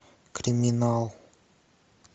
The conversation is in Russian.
криминал